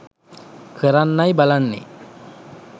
කරන්නයි බලන්නේ